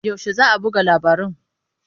Yaushe za a buga labaran?